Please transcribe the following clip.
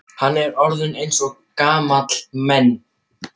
Hann er orðinn eins og gamalmenni.